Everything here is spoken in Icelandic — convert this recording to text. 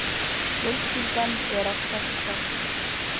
Fjölskyldan er að stækka.